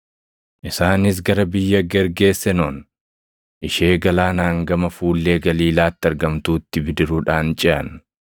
Isaanis gara biyya Gergeesenoon ishee galaanaan gama fuullee Galiilaatti argamtuutti bidiruudhaan ceʼan.